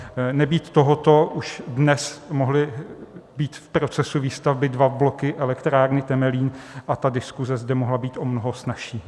Nebýt tohoto, už dnes mohly být v procesu výstavby dva bloky elektrárny Temelín a ta diskuse zde mohla být o mnoho snazší.